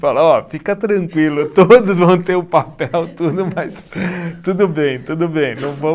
Fala, ó, fica tranquilo, todos vão ter o papel, tudo mais, tudo bem, tudo bem, não vamos